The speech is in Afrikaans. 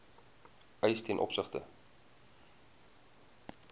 eis ten opsigte